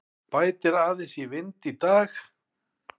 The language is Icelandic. Bætir aðeins í vind í dag